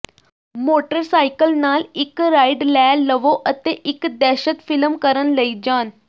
motorcycle ਨਾਲ ਇੱਕ ride ਲੈ ਲਵੋ ਅਤੇ ਇੱਕ ਦਹਿਸ਼ਤ ਫਿਲਮ ਕਰਨ ਲਈ ਜਾਣ